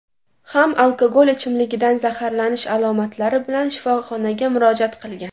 ham alkogol ichimligidan zaharlanish alomatlari bilan shifoxonaga murojaat qilgan.